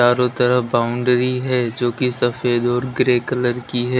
चारों तरफ बाउंड्री है जो कि सफेद और ग्रे कलर की है।